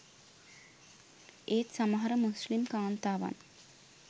ඒත් සමහර මුස්‌ලිම් කාන්තාවන්